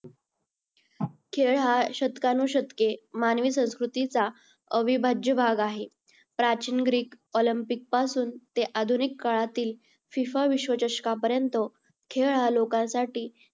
खेळ हा शतकानुशतके मानवी संस्कृतीचा अविभाज्य भाग आहे. प्राचीन greek, olympic पासून ते आधुनिक काळातील फिफा विश्वचषकापर्यंत खेळ हा लोकांसाठी